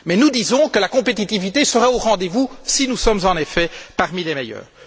Mais nous disons que la compétitivité sera au rendez vous si nous sommes en effet parmi les meilleurs.